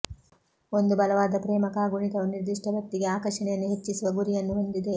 ಒಂದು ಬಲವಾದ ಪ್ರೇಮ ಕಾಗುಣಿತವು ನಿರ್ದಿಷ್ಟ ವ್ಯಕ್ತಿಗೆ ಆಕರ್ಷಣೆಯನ್ನು ಹೆಚ್ಚಿಸುವ ಗುರಿಯನ್ನು ಹೊಂದಿದೆ